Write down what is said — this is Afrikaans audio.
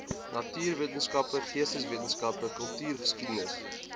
natuurwetenskappe geesteswetenskappe kultuurgeskiedenis